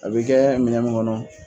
A bɛ kɛ minɛn min kɔnɔ